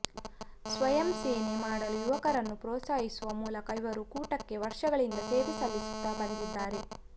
ಸ್ವಯಂ ಸೇವೆ ಮಾಡಲು ಯುವಕರನ್ನು ಪ್ರೋತ್ಸಾಹಿಸುವ ಮೂಲಕ ಇವರು ಕೂಟಕ್ಕೆ ವರ್ಷಗಳಿಂದ ಸೇವೆ ಸಲ್ಲಿಸುತ್ತಾ ಬಂದಿದ್ದಾರೆ